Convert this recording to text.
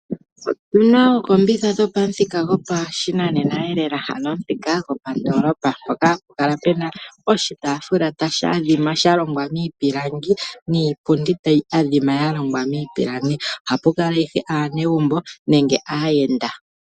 Otuna ookombitha dhopamuthika gopashinaneneelela ano omuthika gopandoolopa mpoka hapu kala pena oshitaafula tashi adhima sha longwa miipilangi niipundi tayi adhima yalongwa miipilangi. Ohapu kala ashike aanegumbo nenge aayenda.